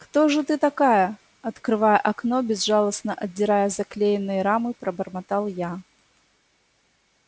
кто же ты такая открывая окно безжалостно отдирая заклеенные рамы пробормотал я